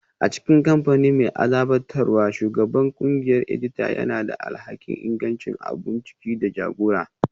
A cikin kamfani mai azabtarwa, Shugaban ƙungiyar edita yana da alhakin ingancin abun ciki da jagora